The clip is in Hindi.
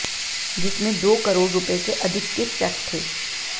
जिसमें दो करोड़ रुपए से अधिक के चैक थे